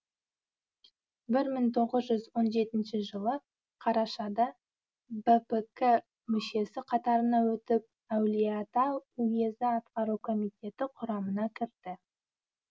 бір мың тоғыз жүз он жетінші жылы қарашада бпк мүшесі қатарына өтіп әулиеата уезі атқару комитеті құрамына кірді